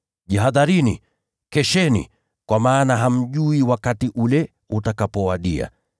Jihadharini! Kesheni! Kwa maana hamjui wakati ule utakapowadia.